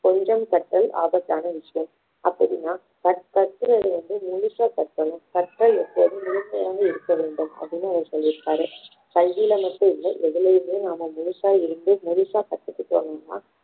கொஞ்சம் கற்றல் ஆபத்தான விஷயம் அப்படின்னா கற்~ கற்பதை வந்து முழுசா கற்கணும் கற்றல் எப்போதும் முழுமையாக இருக்க வேண்டும் அப்படின்னு அவர் சொல்லிருக்காரு கல்வியில மட்டுமில்ல எதுலயுமே நம்ம முழுசா இருந்து முழுசா கத்துக்கிட்டோம் அப்படின்னா